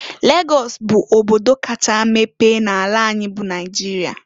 Lagọs bụ obodo kacha mepe n'ala anyị bụ Naịjịrịa.